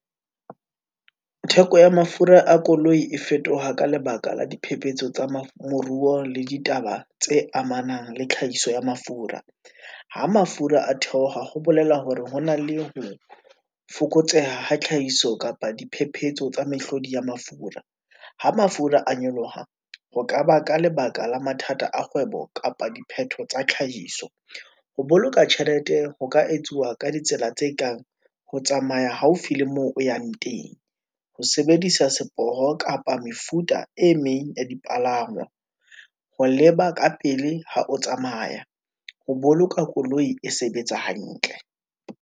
Theko ya mafura a koloi, e fetoha ka lebaka la diphephetso tsa moruo le ditaba tse amanang le tlhahiso ya mafura. Ha mafura a theoha, ho bolela hore ho na le ho fokotseha tlhahiso kapa diphephetso tsa mehlodi ya mafura. Ha mafura a nyoloha, ho ka ba ka lebaka la mathata a kgwebo kapa diphetho tsa tlhahiso. Ho boloka tjhelete ho ka etsuwa ka ditsela tse ho tsamaya haufi le moo o yang teng, Ho sebedisa seporo, kapa mefuta e meng ya dipalangwa, ho leba ka pele ha o tsamaya, ho boloka koloi e sebetsa hantle.